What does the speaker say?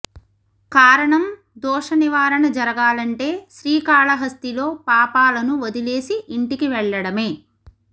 కారణం దోష నివారణ జరగాలంటే శ్రీకాళహస్తిలో పాపాలను వదిలేసి ఇంటికి వెళ్లడమే